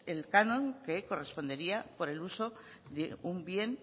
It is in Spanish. el canon que correspondería por el uso de un bien